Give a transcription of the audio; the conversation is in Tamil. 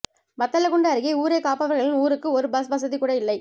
வத்தலக்குண்டு அருகே ஊரை காப்பவர்களின் ஊருக்கு ஒரு பஸ் வசதி கூட இல்லை